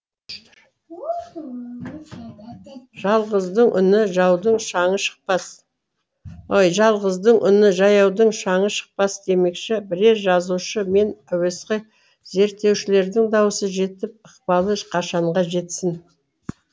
жалғыздың үні жаяудың шаңы шықпас демекші бірер жазушы мен әуесқой зерттеушілердің даусы жетіп ықпалы қашанға жетсін